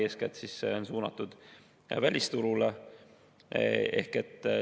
Eeskätt on see suunatud välisturule.